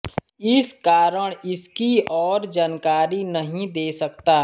इस कारण इसकी और जानकारी नहीं दे सकता